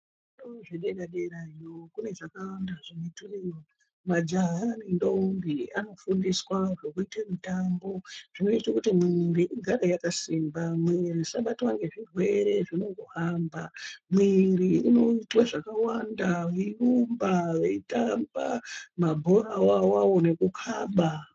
Zvikora zvedera-derayo kune zvakawanda zvinoitweyo. Majaha nendombi anofundiswa zvekuite mitambo zvinoito kuti mwiiri igare yakasimba, mwiiri isabatwa ngezvirwere zvinongohamba. Mwiiri inoitwe zvakawanda, veirumba veitamba, mabhorawo awawo nekukaba.